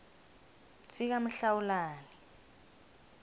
sikamhlawulani